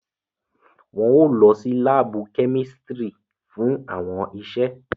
Wọn o lọ si laabu kẹ́místrì fún awọn iṣe